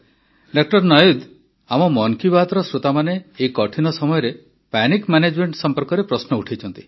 ଡା ନାୱିଦ୍ ଆମ ମନ୍ କି ବାତ୍ର ଶ୍ରୋତାମାନେ ଏହି କଠିନ ସମୟରେ ପାନିକ୍ ମାନେଜ୍ମେଣ୍ଟ ସମ୍ପର୍କରେ ପ୍ରଶ୍ନ ଉତ୍ଥାପନ କରିଛନ୍ତି